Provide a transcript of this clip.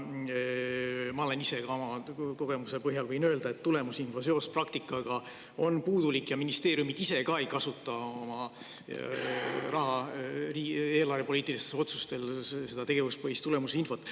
Ma võin ka oma kogemuse põhjal öelda, et tulemusinfo seos praktikaga on puudulik ja ministeeriumid ise ka ei kasuta oma eelarvepoliitiliste otsuste tegemisel tegevuspõhist tulemusinfot.